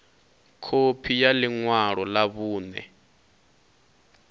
khophi ya ḽi ṅwalo ḽa vhuṋe